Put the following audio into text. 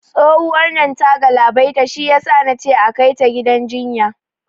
Tsohuwar nan ta galabaita, shiyasa nace akai ta gidan jinya